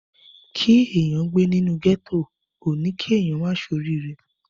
Kí èèyàn gbé nínú ghetto ò ní kí èèyàn má ṣe orí ire.